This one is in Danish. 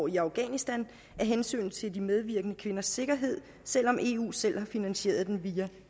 i afghanistan af hensyn til de medvirkende kvinders sikkerhed selv om eu selv har finansieret den via